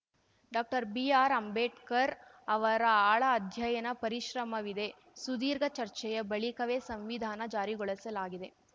ಡಾಕ್ಟರ್ಬಿಆರ್‌ಅಂಬೇಡ್ಕರ್‌ ಅವರ ಆಳ ಅಧ್ಯಯನ ಪರಿಶ್ರಮವಿದೆ ಸುದೀರ್ಘ ಚರ್ಚೆಯ ಬಳಿಕವೇ ಸಂವಿಧಾನ ಜಾರಿಗೊಳಸಲಾಗಿದೆ